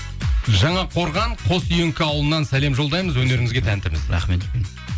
жаңақорған қоссүйіңкі ауылынан сәлем жолдаймыз өнеріңізге тәнтіміз рахмет үлкен